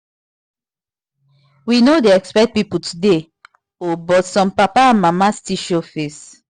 we no dey expect people today o but some papa and mama still show face